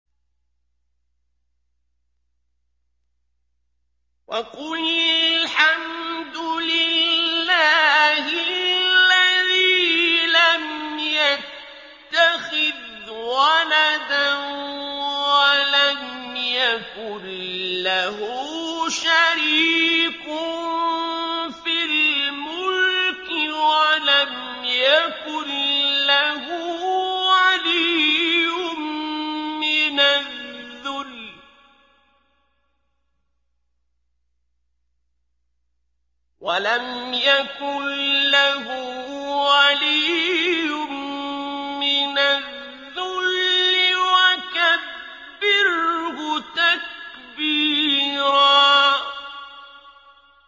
وَقُلِ الْحَمْدُ لِلَّهِ الَّذِي لَمْ يَتَّخِذْ وَلَدًا وَلَمْ يَكُن لَّهُ شَرِيكٌ فِي الْمُلْكِ وَلَمْ يَكُن لَّهُ وَلِيٌّ مِّنَ الذُّلِّ ۖ وَكَبِّرْهُ تَكْبِيرًا